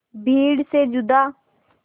भीड़ से जुदा